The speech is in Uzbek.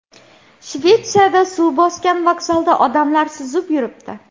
Shvetsiyada suv bosgan vokzalda odamlar suzib yuribdi .